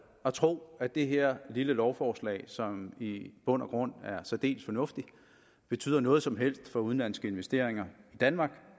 at tro at det her lille lovforslag som i bund og grund er særdeles fornuftigt betyder noget som helst for udenlandske investeringer i danmark